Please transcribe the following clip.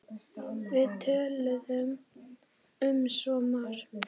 Við töluðum um svo margt.